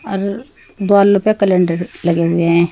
और द्वाल पे कैलेंडर लगे हुए है।